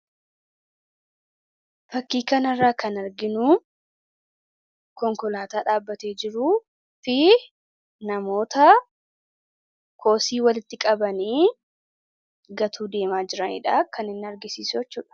fakkii kanarraa kan arginuu konkolaataa dhaabatee jiru fi namoota kosii walitti qabanii gatuu deemaa jiraniidha kan hin argisiisu jechuudha